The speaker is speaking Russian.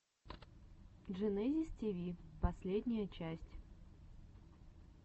дженезис тиви последняя часть